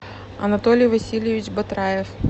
анатолий васильевич батраев